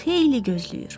Xeyli gözləyir.